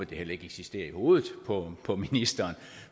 det heller ikke eksisterer i hovedet på på ministeren